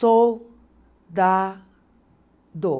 Sol da do.